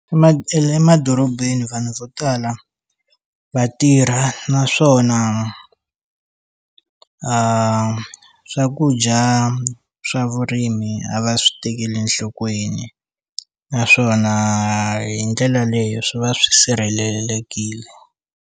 emadorobeni vanhu vo tala va tirha naswona a swakudya swa vurimi a va swi tekeli enhlokweni naswona hi ndlela leyo swi va swi sirhelelekile.